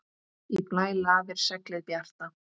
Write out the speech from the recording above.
Í blæ lafir seglið bjarta.